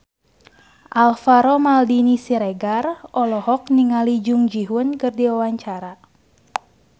Alvaro Maldini Siregar olohok ningali Jung Ji Hoon keur diwawancara